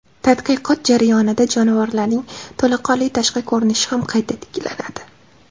Tadqiqot jarayonida jonivorlarning to‘laqonli tashqi ko‘rinishi ham qayta tiklanadi.